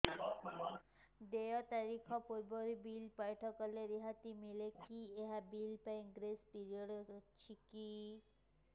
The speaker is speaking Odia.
ଦେୟ ତାରିଖ ପୂର୍ବରୁ ବିଲ୍ ପୈଠ କଲେ ରିହାତି ମିଲେକି ଏହି ବିଲ୍ ପାଇଁ ଗ୍ରେସ୍ ପିରିୟଡ଼ କିଛି ଅଛିକି